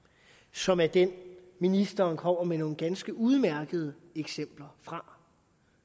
som er det ministeren kommer med nogle ganske udmærkede eksempler fra og